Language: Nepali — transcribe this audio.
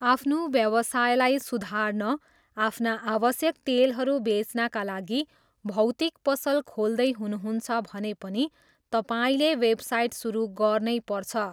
आफ्नो व्यवसायलाई सुधार्न आफ्ना आवश्यक तेलहरू बेच्नाका लागि भौतिक पसल खोल्दै हुनुहुन्छ भने पनि तपाईँले वेबसाइट सुरु गर्नैपर्छ।